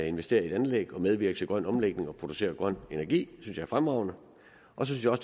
investere i et anlæg og medvirke til grøn omlægning og producere grøn energi det synes jeg er fremragende og så synes